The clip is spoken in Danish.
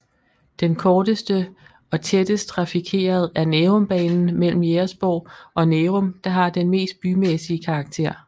Den korteste og tættest trafikerede er Nærumbanen mellem Jægersborg og Nærum der har den mest bymæssige karakter